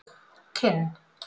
Kinn